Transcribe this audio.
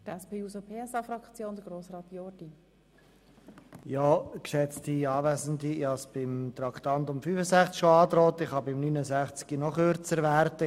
Ich habe es beim Traktandum 65 bereits angedroht und kann beim Traktandum 69 noch kürzer werden.